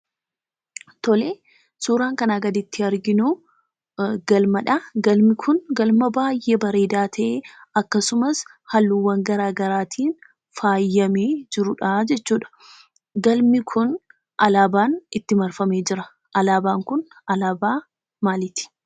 Tole suuraan kanaa gaditti arginu galmadha. Galmi kun galma baay'ee bareedaa ta'ee akkasumas haalluuwwan garaa garaatiin faayyamee jirudhaa jechuudha. Galmi kun alaabaan itti marfamee jira. Alaabaan kun alaabaa maaliiti?